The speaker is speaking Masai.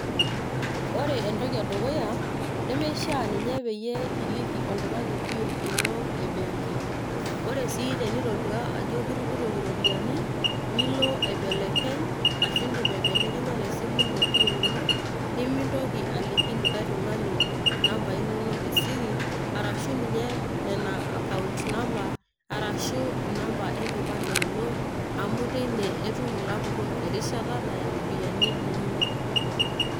Ore entoki edukuya, nemeishaa ninye peyie iliki oltung'ani PIN ino ebenki. Ore si tenitodua ajo kitupurroki ropiyaiani, nilo aibelekeny ashu idim aibelekenya tesimu ino PIN ino, nimintoki aliki likae tung'ani nambai nonok esiri, arashu ninye nena account number ,arashu inamba enkipande ino, amu teine etum ilapurrok erishata naya ropiyaiani inonok.